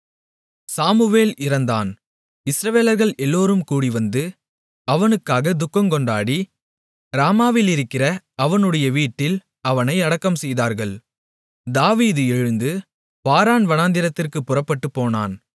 Samuel இறந்தான் இஸ்ரவேலர்கள் எல்லோரும் கூடிவந்து அவனுக்காகத் துக்கங்கொண்டாடி ராமாவிலிருக்கிற அவனுடைய வீட்டில் அவனை அடக்கம்செய்தார்கள் தாவீது எழுந்து பாரான் வனாந்திரத்திற்குப் புறப்பட்டுப் போனான்